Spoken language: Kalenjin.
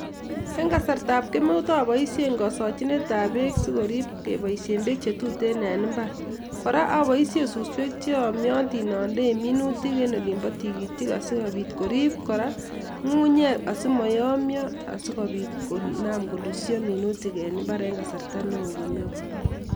En kasartab kemeut apoishen kasachinetab beek asikomuch koriip kepoishen beek che tuten eng imbar, kora apoishen suswek che yamatin andei minutik en olimbo tigitik asikopit koriip kora ngungunyek asima yomia asikopit konaam kolusio minutik en imbaar en kasarta neo kemeut.